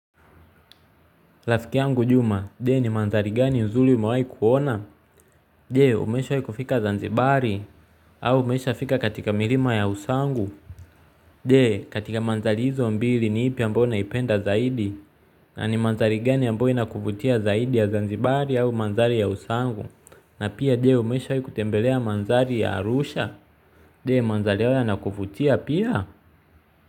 Rafiki angu Juma, Je ni mandhari gani nzuri umewahi kuona? Je? Umeshawahi kufika zanzibari? Au umeshafika katika milima ya Usangu? Je? Katika mandhari hizo mbili ni ipi ambayo unaipenda zaidi? Na ni mandhari gani ambayo inakuvutia zaidi ya zanzibari au mandhari ya Usangu? Na pia je umeshawahi kutembelea mandhari ya Arusha? Je, mandhari yao yanakuvutia pia?